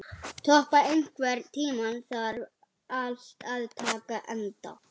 Tobba, einhvern tímann þarf allt að taka enda.